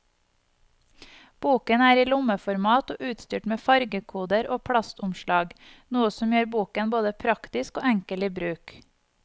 Boken er i lommeformat og utstyrt med fargekoder og plastomslag, noe som gjør boken både praktisk og enkel i bruk.